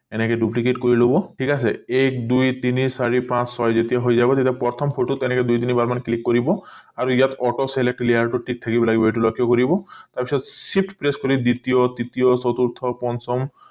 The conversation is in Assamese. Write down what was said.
এনেকে duplicate কৰি লব ঠিক আছে এক দুই তিনি চাৰি পাঁচ ছয় যেতিয়া হৈ যাব তেতিয়া প্ৰথম photo এনেকে দুই তিনি বাৰ মান click কৰিব আৰু auto select layer টো থাকিব লাগিব এইটো লক্ষ্য কৰি লাগিব তাৰ পিছত shift press কৰি দ্বিতীয় তৃতীয় চতুৰ্থ পঞ্চম